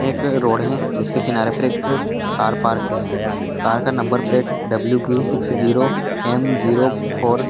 एक रोड है जिसके किनारे पर एक कार पार्क है कार का नंबर प्लेट है W B six zero M zero --